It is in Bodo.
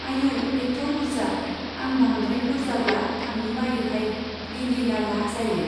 आयौ, एथ' बुरजा, आं बांद्राय बुरजाब्ला थांनो बायोहाय, लिलि लाला जायो।